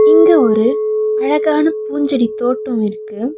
இங்க ஒரு அழகான பூஞ்செடி தோட்டோ இருக்கு.